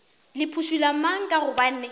le phušula mang ka gobane